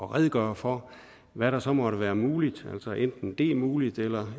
at redegøre for hvad der så måtte være muligt altså enten at det er muligt eller